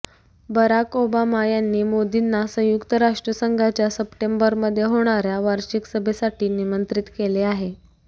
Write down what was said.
Barack Obama यांनी मोदींना संयुक्त राष्ट्रसंघाच्या सप्टेंबरमध्ये होणाऱ्या वार्षिक सभेसाठी निमंत्रित केले आहे